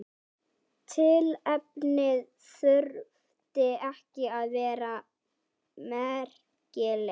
Tilefnið þurfti ekki að vera merkilegt.